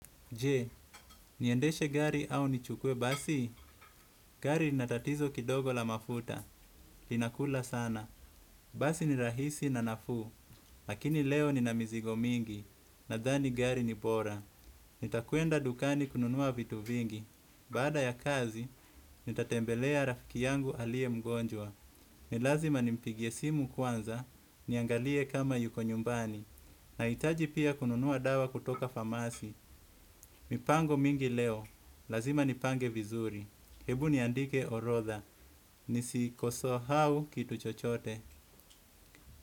Je, niendeshe gari au nichukuwe basi? Gari lina tatizo kidogo la mafuta, linakula sana. Basi ni rahisi na nafuu, lakini leo nina mizigo mingi, nadhani gari ni bora. Nitakwenda dukani kununua vitu vingi, baada ya kazi, nitatembelea rafiki yangu alie mgonjwa. Ni lazima nimpigie simu kwanza, niangalie kama yuko nyumbani. Naitaji pia kununua dawa kutoka famasi, mipango mingi leo. Lazima nipange vizuri, ebu niandike orodha. Nisikosahau kitu chochote.